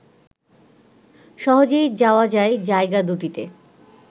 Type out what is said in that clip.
সহজেই যাওয়া যায় জায়গা দুটিতে